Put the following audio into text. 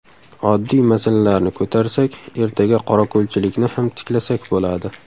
Oddiy masalalarni ko‘tarsak, ertaga qorako‘lchilikni ham tiklasak bo‘ladi.